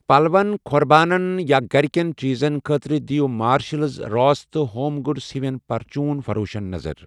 پلون، کھۄربانن یا گرِ کین چیٖزن خٲطرٕ دیٖو مارشلز، راس تہٕ ہوم گُڈز ہِوین پرچوٗن فروشن نظر۔